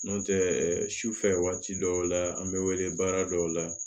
N'o tɛ sufɛ waati dɔw la an bɛ wele baara dɔw la